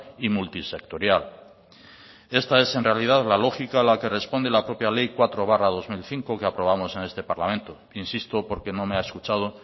y multisectorial esta es en realidad la lógica a la que responde la propia ley cuatro barra dos mil cinco que aprobamos en este parlamento insisto porque no me ha escuchado